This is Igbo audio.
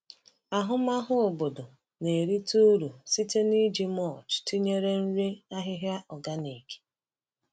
Ahụmahụ obodo na-erite uru site n’iji mulch tinyere nri ahịhịa organic.